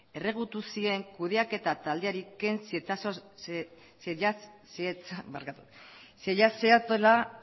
erregutu zien kudeaketa taldeari ken zitzaiola